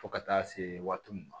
Fo ka taa se waati min ma